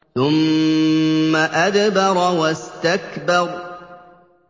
ثُمَّ أَدْبَرَ وَاسْتَكْبَرَ